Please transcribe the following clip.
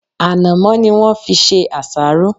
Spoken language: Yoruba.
Ànàmó ni won fi se àsáró